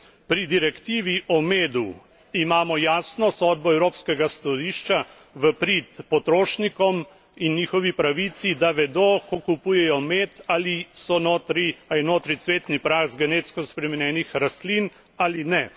Pri direktivi o medu imamo jasno sodbo Evropskega sodišča v prid potrošnikom in njihovi pravici, da vedo, ko kupujejo med, ali je notri cvetni prah z genetsko spremenjenih rastlin ali ne.